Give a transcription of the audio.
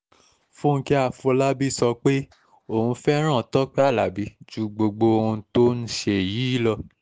fúnkẹ́ àfọlábí sọ pé um òun fẹ́ràn tọ́pẹ́ alábí ju gbogbo ohun tó um ń ṣe yìí lọ